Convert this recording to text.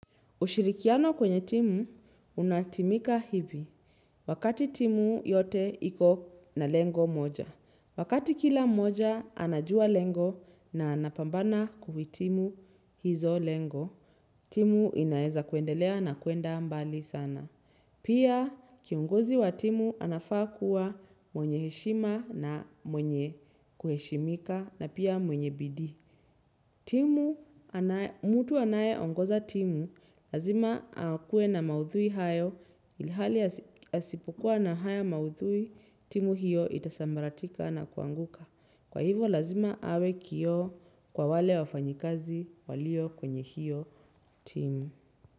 Ushirikiano kwenye timu, unatimika hivi. Wakati timu yote iko na lengo moja. Wakati kila moja, anajua lengo na anapambana kuhitimu hizo lengo. Timu inaeza kuendelea na kuenda mbali sana. Pia kiongozi wa timu anafaa kuwa mwenye heshima na mwenye kuheshimika na pia mwenye bidii. Timu, mtu anayeongoza timu, lazima akuwe na maudhui hayo ilihali asipokua na haya maudhui timu hiyo itasambaratika na kuanguka. Kwa hivyo lazima awe kio kwa wale wafanyikazi walio kwenye hiyo timu.